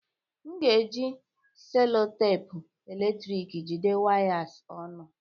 M ga-eji cellotape eletrọnịkị jide wires ọnụ